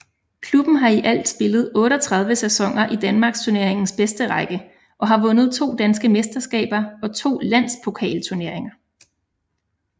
Klubben har i alt spillet 38 sæsoner i Danmarksturneringens bedste række og har vundet to danske mesterskaber og to Landspokalturneringer